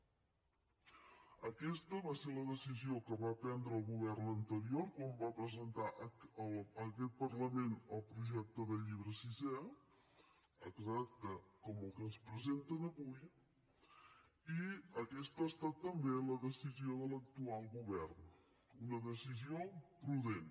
aqueta va ser la decisió que va prendre el govern anterior quan va presentar a aquest parlament el projecte de llibre sisè exacte com el que ens presenten avui i aquesta ha estat també la decisió de l’actual govern una decisió prudent